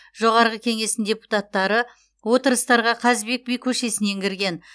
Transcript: жоғарғы кеңестің депутаттары отырыстарға қазыбек би көшесінен кірген